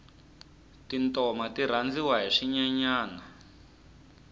tintoma ti rhandziwa hi swinyenyani